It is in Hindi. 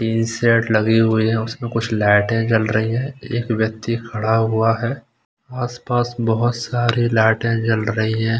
टिन शेड लगी हुई है उसमें कुछ लाइटें जल रही है एक व्यक्ति खड़ा हुआ है आस-पास बहुत सारी लाइटें जल रही हैं।